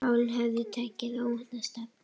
Málin höfðu tekið óvænta stefnu.